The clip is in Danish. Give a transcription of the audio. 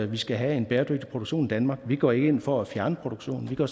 vi skal have en bæredygtig produktion i danmark vi går ikke ind for at fjerne produktionen vi går